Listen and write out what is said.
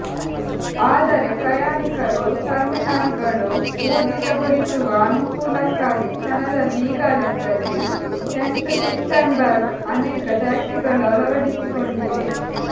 ಆದರೆ ಪ್ರಯಾಣಿಕರು ಟರ್ಮಿನಲ್ಗಳು ಊರ್ಜಿತಗೊಳಿಸುವ ಅನುಕೂಲಕ್ಕಾಗಿ ಕ್ಷಣದಲ್ಲಿ ಈಗಾಗಲೇ ಸೇಂಟ್ ಪೀಟರ್ಸ್ಬರ್ಗ್ ಅನೇಕ ಟ್ಯಾಕ್ಸಿಗಳು ಅಳವಡಿಸಿಕೊಂಡಿವೆ